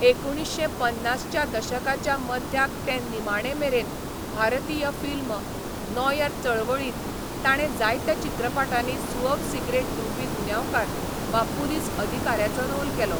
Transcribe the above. एकुणीश्शें पन्नासच्या दशकाच्या मध्याक ते निमाणेमेरेन, भारतीय फिल्म, नॉयर चळवळींत, ताणें जायत्या चित्रपटांनी सुअव सिगरेट धुंवपी गुन्यांवकार वा पुलीस अधिकाऱ्याचो रोल केलो.